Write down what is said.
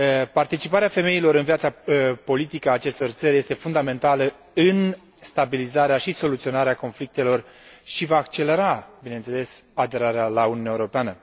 Participarea femeilor în viața politică a acestor țări este fundamentală în stabilizarea și soluționarea conflictelor și va accelera, bineînțeles, aderarea la Uniunea Europeană.